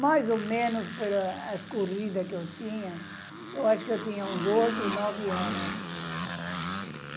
Mais ou menos, pela... as corrida que eu tinha, eu acho que eu tinha uns oito, nove ano.